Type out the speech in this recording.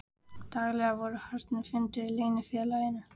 Daglega voru haldnir fundir í leynifélaginu